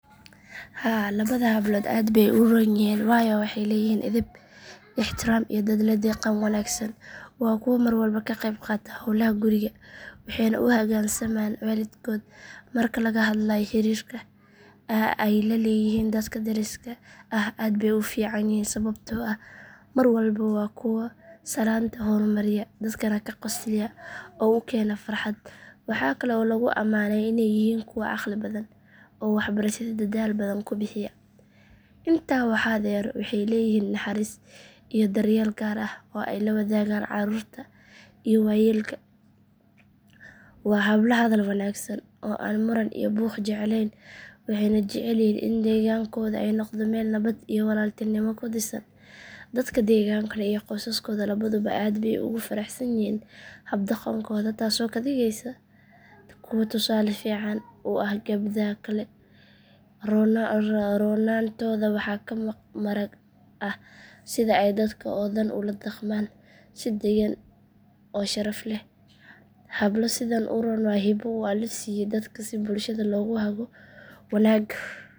Haa labada hablood aad bay u roon yihiin waayo waxay leeyihiin edeb, ixtiraam iyo dad la dhaqan wanaagsan. Waa kuwo mar walba ka qayb qaata howlaha guriga waxayna u hoggaansamaan waalidkood. Marka laga hadlayo xiriirka ay la leeyihiin dadka deriska ah aad bay u fiican yihiin sababtoo ah mar walba waa kuwo salaanta hormariya, dadkana ka qosliya oo u keena farxad. Waxa kale oo lagu amaanaa inay yihiin kuwo caqli badan oo waxbarashada dadaal badan ku bixiya. Intaa waxaa dheer waxay leeyihiin naxariis iyo daryeel gaar ah oo ay la wadaagaan carruurta iyo waayeelka. Waa hablo hadal wanaagsan oo aan muran iyo buuq jeclayn waxayna jecel yihiin in deegaankooda ay noqdo meel nabad iyo walaaltinimo ku dhisan. Dadka deegaanka iyo qoysaskooda labaduba aad bay ugu faraxsan yihiin hab dhaqankooda taasoo ka dhigaysa kuwo tusaale fiican u ah gabdhaha kale. Roonaantooda waxaa ka marag ah sida ay dadka oo dhan ula dhaqmaan si deggan oo sharaf leh. Hablo sidan u roon waa hibo uu Alle siiyo dadka si bulshada loogu hago wanaag.